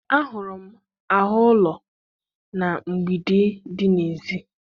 Ahụrụ m áhụ ụlọ na mgbidi dị n'èzí.